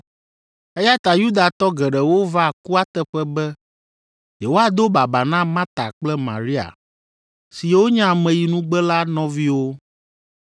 eya ta Yudatɔ geɖewo va kua teƒe be yewoado baba na Marta kple Maria siwo nye ameyinugbe la nɔviwo.